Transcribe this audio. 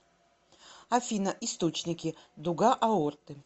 афина источники дуга аорты